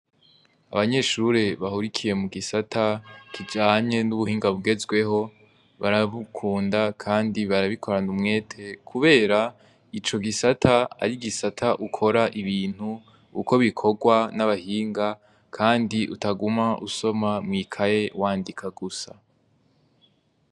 Abanyeshure bahurikiye mu gisata kijanye n'ubuhinga bugezweho barabukunda, kandi barabikoranda umwete, kubera ico gisata ari igisata ukora ibintu uko bikorwa n'abahinga, kandi utaguma usoma mw'ikaye wandika gusa.